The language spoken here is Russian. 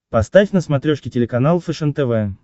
поставь на смотрешке телеканал фэшен тв